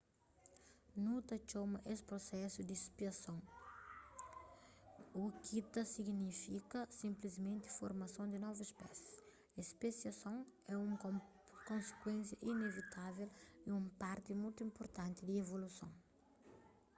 nu ta txoma es prusesu di spesiason u ki ta signifika sinplismenti formason di novus spésis spesiason é un konsikuénsia inevitavel y un parti mutu inpurtanti di evoluson